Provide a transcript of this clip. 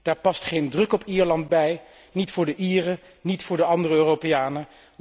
Daar past geen druk op Ierland bij, niet voor de Ieren, niet voor de andere Europeanen.